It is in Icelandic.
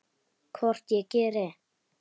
Hvort ég geri!